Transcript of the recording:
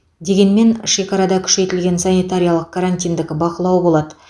дегенмен шекарада күшейтілген санитариялық карантиндік бақылау болады